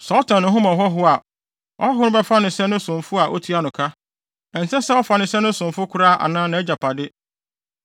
Sɛ ɔtɔn ne ho ma ɔhɔho a, ɔhɔho no bɛfa no sɛ ne somfo a otua no ka. Ɛnsɛ sɛ ɔfa no sɛ ne somfo koraa anaa nʼagyapade.